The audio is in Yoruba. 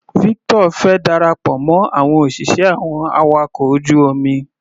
Victor fẹ́ darapọ̀ mọ́ àwọn òṣìṣẹ́ àwọn awakọ̀ ojú omi.